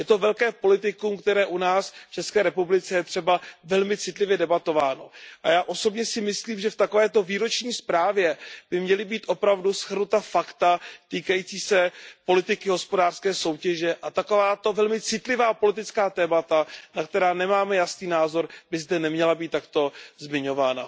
Je to velké politikum, které u nás v České republice je velmi citlivě debatováno. A já osobně si myslím, že v takovéto výroční zprávě by měla být opravdu shrnuta fakta týkající se politiky hospodářské soutěže a takováto velmi citlivá politická témata, na která nemáme jasný názor, by zde neměla být takto zmiňována.